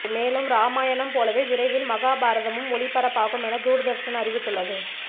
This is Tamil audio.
மேலும் ராமாயணம் போலவே விரைவில் மகாபாரதமும் ஒளிபரப்பாகும் என்று தூர்தர்ஷன் அறிவித்துள்ளது